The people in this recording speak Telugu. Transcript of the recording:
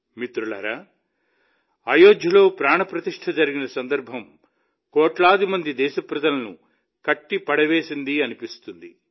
మిత్రులారా అయోధ్యలో ప్రాణ ప్రతిష్ఠ జరిగిన సందర్భం కోట్లాది మంది దేశ ప్రజలను కట్టిపడేసిందనిపిస్తుంది